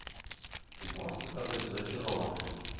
ты можешь показать зачарованные